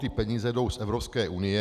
Ty peníze jdou z Evropské unie.